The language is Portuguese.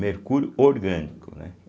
Mercúrio orgânico, né?